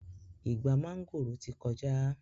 Ìgbà mángòrò ti kọjá